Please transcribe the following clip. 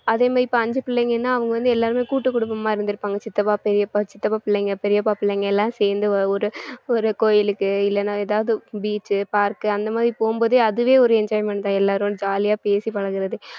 அதே மாதிரி இப்ப அஞ்சு பிள்ளைங்கன்னா அவங்க வந்து எல்லாருமே கூட்டுக்குடும்பமா இருந்திருப்பாங்க சித்தப்பா பெரியப்பா சித்தப்பா பிள்ளைங்க பெரியப்பா பிள்ளைங்க எல்லாம் சேர்ந்து ஒரு ஒரு கோயிலுக்கு இல்லைன்னா எதாவது beach உ park உ அந்த மாதிரி அதுவே ஒரு enjoyment தான் எல்லாரும் ஜாலியா பேசி பழகறது